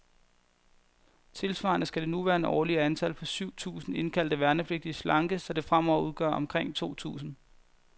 Tilsvarende skal det nuværende årlige antal, på syv tusinde indkaldte værnepligtige, slankes, så det fremover udgør omkring to tusinde.